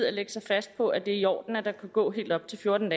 at lægge sig fast på at det er i orden at der kan gå helt op til fjorten